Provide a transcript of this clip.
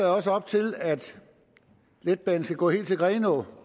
også op til at letbanen skal gå helt til grenaa og